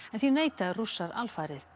en því neita Rússar alfarið